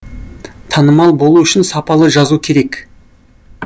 танымал болу үшін сапалы жазу керек